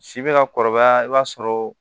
Si bɛ ka kɔrɔbaya i b'a sɔrɔ